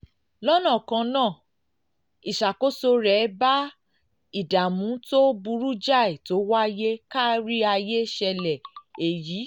lọ́nà kan náà náà ìṣàkóso rẹ̀ bá ìdààmú tó burú jáì tó wáyé kárí ayé ṣẹlẹ̀ èyí